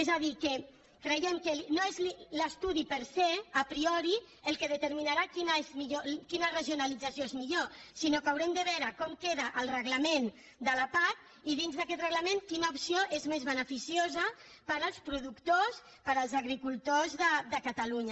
és a dir creiem que no és l’estudi per sea priori el que determinarà quina regionalització és millor sinó que haurem de veure com queda el reglament de la pac i dins d’aquest reglament quina opció és més beneficiosa per als productors per als agricultors de catalunya